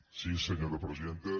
sí senyora presidenta